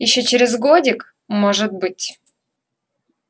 ещё через годик может быть